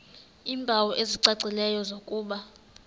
iimpawu ezicacileyo zokuba